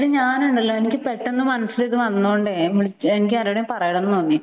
എടീ ഞാൻ ഉണ്ടല്ലോ എനിക്ക് ഇത് പെട്ടെന്ന് ഇത് മനസ്സിൽ വന്നൊണ്ട് ഞാൻ വിളിച്ചതാണ് എനിക്ക് ആരോടെങ്കിലും പറയണമെന്ന് തോന്നി